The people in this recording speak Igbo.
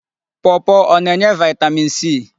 Pọọpọọ ọ na-enye vaịtamin c?